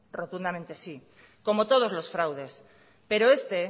rotundamente sí como todos los fraudes pero este